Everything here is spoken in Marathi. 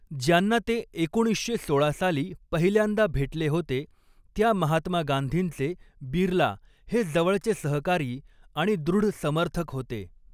ज्यांना ते एकोणीसशे सोळा साली पहिल्यांदा भेटले होते त्या महात्मा गांधींचे, बिर्ला हे जवळचे सहकारी आणि दृढ समर्थक होते.